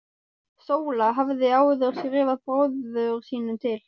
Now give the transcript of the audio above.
Sóla hafði áður skrifað bróður sínum til